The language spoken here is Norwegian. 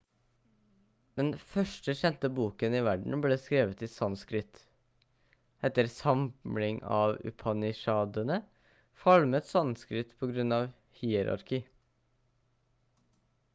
den første kjente boken i verden ble skrevet i sanskrit etter samling av upanishadene falmet sanskrit på grunn av hierarki